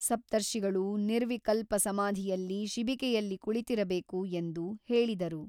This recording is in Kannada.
ಸಪ್ತರ್ಷಿಗಳು ನಿರ್ವಿಕಲ್ಪ ಸಮಾಧಿಯಲ್ಲಿ ಶಿಬಿಕೆಯಲ್ಲಿ ಕುಳಿತಿರಬೇಕು ಎಂದು ಹೇಳಿದರು.